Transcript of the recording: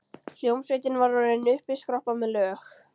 Hljómsveitin var orðin uppiskroppa með lög.